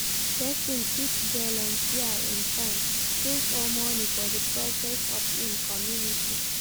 Persin fit volunteer im time, skills or money for di progress of im community